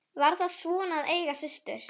Var það svona að eiga systur?